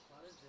Bərdə.